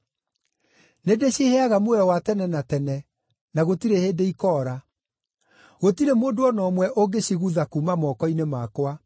Nĩndĩciheaga muoyo wa tene na tene, na gũtirĩ hĩndĩ ikoora; gũtirĩ mũndũ o na ũmwe ũngĩcigutha kuuma moko-inĩ makwa.